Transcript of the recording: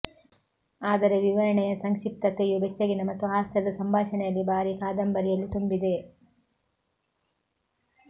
ಆದರೆ ವಿವರಣೆಯ ಸಂಕ್ಷಿಪ್ತತೆಯು ಬೆಚ್ಚಗಿನ ಮತ್ತು ಹಾಸ್ಯದ ಸಂಭಾಷಣೆಯಲ್ಲಿ ಭಾರಿ ಕಾದಂಬರಿಯಲ್ಲಿ ತುಂಬಿದೆ